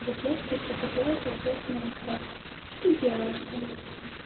вот я теперь захотела поиграть в майнкрафт что ты делаешь со мной